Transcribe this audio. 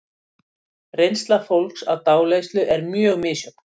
Reynsla fólks af dáleiðslu er mjög misjöfn.